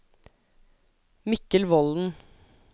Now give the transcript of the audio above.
Mikkel Volden